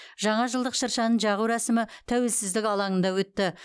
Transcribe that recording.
жаңа жылдық шыршаны жағу рәсімі тәуелсіздік алаңында өтті